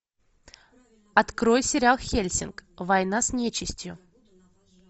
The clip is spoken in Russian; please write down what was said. открой сериал хельсинг война с нечистью